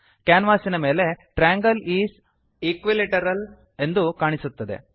ಕ್ಯಾನ್ವಾಸಿನ ಮೇಲೆ triangle is equilateral triangle is equilateral ಎಂದು ಕಾಣಿಸುತ್ತದೆ